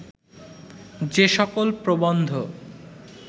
যে সকল প্রবন্ধ